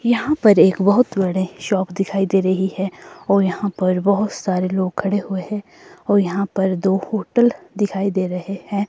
यहां पर एक बहोत बड़े शॉप दिखाई दे रही है और यहां पर बहोत सारे लोग खड़े हुए हैं और यहां पर दो होटल दिखाई दे रहे हैं।